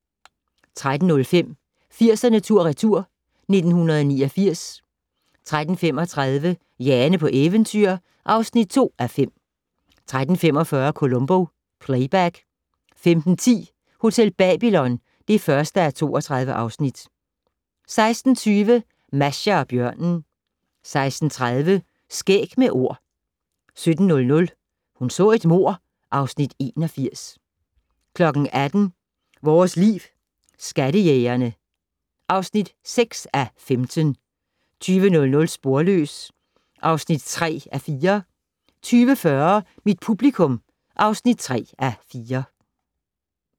13:05: 80'erne tur/retur: 1989 13:35: Jane på eventyr (2:5) 13:45: Columbo: Playback 15:10: Hotel Babylon (1:32) 16:20: Masha og bjørnen 16:30: Skæg med Ord 17:00: Hun så et mord (Afs. 81) 18:00: Vores Liv: Skattejægerne (6:15) 20:00: Sporløs (3:4) 20:40: Mit publikum (3:4)